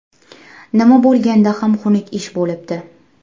Nima bo‘lganda ham xunuk ish bo‘libdi.